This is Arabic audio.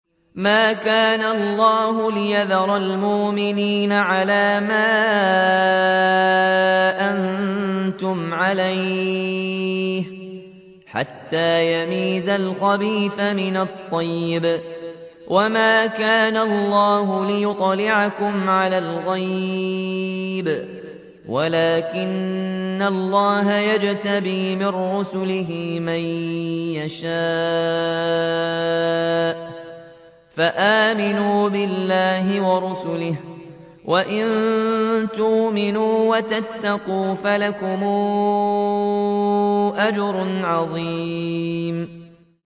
مَّا كَانَ اللَّهُ لِيَذَرَ الْمُؤْمِنِينَ عَلَىٰ مَا أَنتُمْ عَلَيْهِ حَتَّىٰ يَمِيزَ الْخَبِيثَ مِنَ الطَّيِّبِ ۗ وَمَا كَانَ اللَّهُ لِيُطْلِعَكُمْ عَلَى الْغَيْبِ وَلَٰكِنَّ اللَّهَ يَجْتَبِي مِن رُّسُلِهِ مَن يَشَاءُ ۖ فَآمِنُوا بِاللَّهِ وَرُسُلِهِ ۚ وَإِن تُؤْمِنُوا وَتَتَّقُوا فَلَكُمْ أَجْرٌ عَظِيمٌ